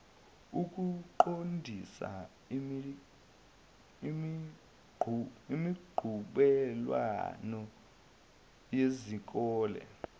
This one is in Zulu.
ukuqondisa imiqhudelwano yezikole